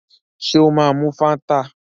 Ṣé ó máa mu Fáńtà?